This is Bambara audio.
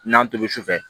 N'an tobi sufɛ